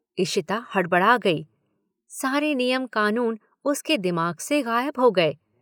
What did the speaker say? इशिता हड़बड़ा गई। सारे नियम कानून उसके दिमाग से गायब हो गये।